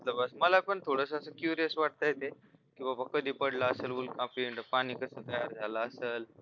मला पण थोडंसं असं quest वाटतंय ते की बाबा कधी पडला असेल उल्का पिंड पाणी कस तयार झालं असेल